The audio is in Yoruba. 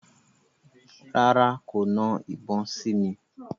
Rárá, kò na ìbọn sí mi.